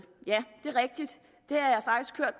ja det er rigtigt